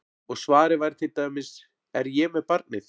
Og svarið væri til dæmis: Er ég með barnið?